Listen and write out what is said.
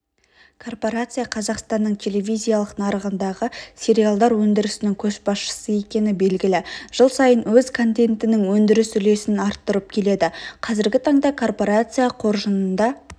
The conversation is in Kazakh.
корпорация қазақстанның телевизиялық нарығындағы сериалдар өндірісінің көшбасшысы екені белгілі жыл сайын өз контентінің өндіріс үлесін арттырып келеді қазіргі таңда корпорация қоржынында